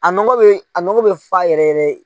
A nogo bɛ a nogp bɛ fa yɛrɛ yɛrɛ.